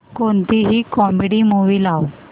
कोणतीही comedy movie लाव